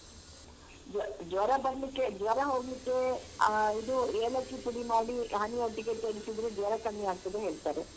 ಜ್ವರ ಜ್ವರ ಬರ್ಲಿಕ್ಕೆ ಜ್ವರ ಹೋಗ್ಲಿಕ್ಕೆ ಆ ಇದು ಏಲಕ್ಕಿ ಪುಡಿ ಮಾಡಿ honey ಯೊಟ್ಟಿಗೆ ತೆಗ್ದು ತಿಂದ್ರೆ ಜ್ವರ ಕಮ್ಮಿ ಆಗ್ತದೆ ಹೇಳ್ತಾರೆ.